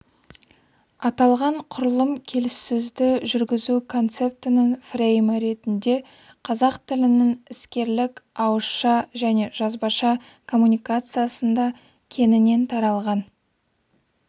аталған құрылым келіссөзді жүргізу концептінің фреймі ретінде қазақ тілінің іскерлік ауызша және жазбаша коммуникациясында кеңінен таралған